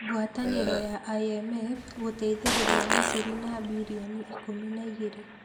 Ngwatanĩro ya IMF gũteithĩrĩria Misiri na birioni ikũmi na igeerĩ.